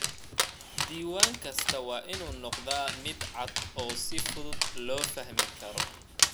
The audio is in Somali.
Diiwaan kastaa waa inuu noqdaa mid cad oo si fudud loo fahmi karo.